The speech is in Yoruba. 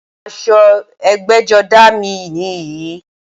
Aṣọ ẹgbẹ́jọdá à mi nìyí